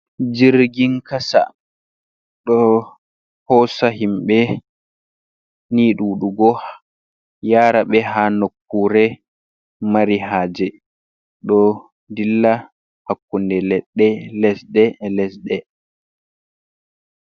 Jirgi kasa ɗo hosa himɓe ni duɗugo yara ɓe ha nokkure mari haje, ɗo dilla hakkunde leɗɗe lesɗe lesɗe.